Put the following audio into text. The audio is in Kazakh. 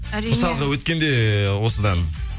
әрине мысалғы өткенде осыдан